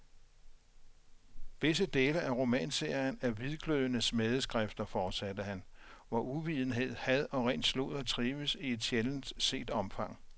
Visse dele af romanserien er hvidglødende smædeskrifter, fortsatte han, hvor uvidenhed, had og ren sludder trives i et sjældent set omfang.